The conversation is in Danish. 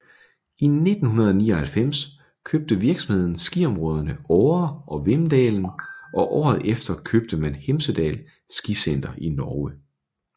I 1999 købte virksomheden skiområderne Åre og Vemdalen og året efter købte man Hemsedal Skisenter i Norge